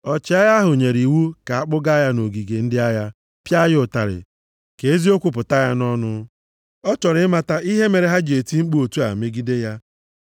ọchịagha ahụ nyere iwu ka a kpụgaa ya nʼogige ndị agha, pịa ya ụtarị, ka eziokwu pụta ya nʼọnụ. Ọ chọrọ ịmata ihe mere ha ji eti mkpu otu a megide ya.